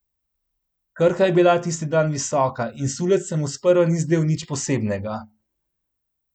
Krka je bila tisti dan visoka in sulec se mu sprva ni zdel nič posebnega.